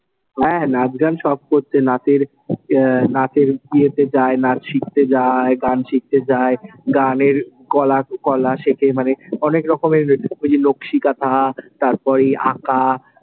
হ্যাঁ, নাচ গান সব করছে, নাচের এর নাচের ইয়েতে যায়। নাচ শিখতে যায়, গান শিখতে যায়, গানের কলা কলা শেখে মানে অনেক রকমের ওই যে নক্সিকাঁথা, তারপরে এই আঁকা,